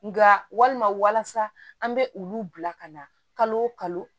Nka walima walasa an bɛ olu bila ka na kalo